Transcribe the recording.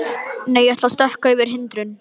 Nei, ég ætla að stökkva yfir hindrun.